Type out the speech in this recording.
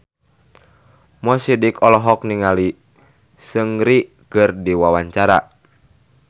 Mo Sidik olohok ningali Seungri keur diwawancara